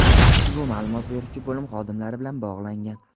ushbu ma’lumot beruvchi bo‘lim xodimlari bilan bog‘langan.